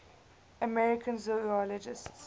american zoologists